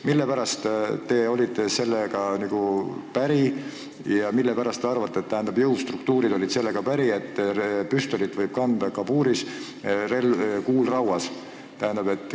Mille pärast te olite sellega päri ja mille pärast teie arvates jõustruktuurid olid sellega päri, et püstolit võib kanda kabuuris, kuul rauas?